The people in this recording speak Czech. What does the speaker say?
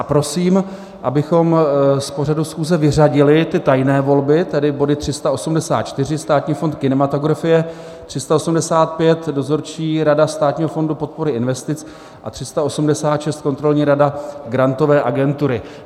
A prosím, abychom z pořadu schůze vyřadili ty tajné volby, tedy body 384 - Státní fond kinematografie, 385 - Dozorčí rada Státního fondu podpory investic, a 386 - Kontrolní rada Grantové agentury.